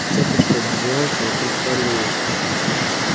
цепочка обвилась вокруг талии